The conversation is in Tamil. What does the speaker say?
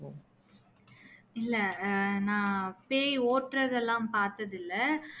இல்ல அஹ் நான் பேய் ஓட்டுறதெல்லாம் பாத்தது இல்ல